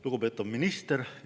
Lugupeetav minister!